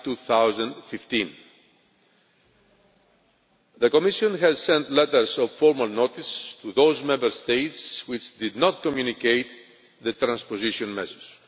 July 2015. The Commission has sent letters of formal notice to those Member States that did not communicate the transposition measures.